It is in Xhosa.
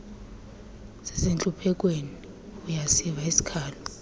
sisentluphekweni uyasiva isikhalo